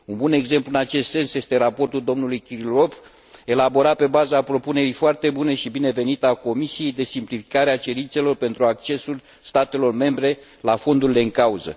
Un bun exemplu în acest sens este raportul dlui Kirilov, elaborat pe baza propunerii foarte bune și binevenite a Comisiei de simplificare a cerințelor pentru accesul statelor membre la fondurile în cauză.